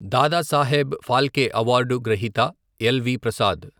Dadasaheb Phalke award గ్రహీత ఎల్.వి.ప్రసాద్.